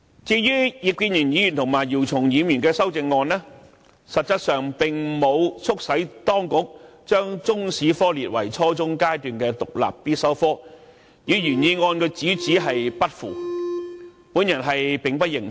至於葉建源議員和姚松炎議員的修正案，實質上並沒有促使當局把中史科列為初中階段的獨立必修科目，與原議案主旨不符，因此我並不認同。